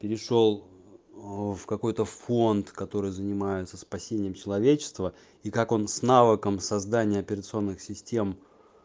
перешёл в какой-то фонд который занимается спасением человечества и как он снова ком создание операционных систем